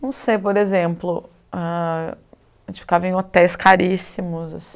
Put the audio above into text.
Não sei, por exemplo, a a gente ficava em hotéis caríssimos assim.